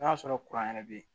N'a sɔrɔ kuran yɛrɛ bɛ yen